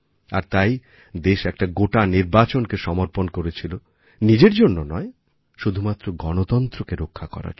আর তাই দেশ একটা গোটানির্বাচনকে সমর্পণ করেছিল নিজের জন্য নয় শুধুমাত্র গণতন্ত্রকে রক্ষা করার জন্য